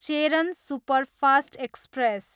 Cheran superfast express